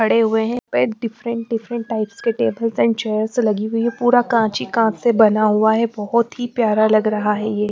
पड़े हुए है पे डिफ्रेंट डिफ्रेंट टाइप के टेबल्स एंड लगी हुई है पूरा कांच ही कांच से बना हुआ है बोहोत ही प्यारा लग रहा है ये --